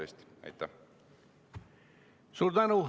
Suur tänu!